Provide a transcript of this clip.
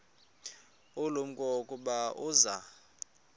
ulumko ukuba uza